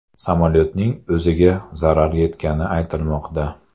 Samolyotning o‘ziga zarar yetgani aytilmoqda.